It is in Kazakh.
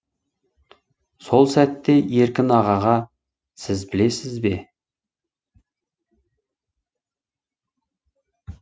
сол сәтте еркін ағаға сіз білесіз бе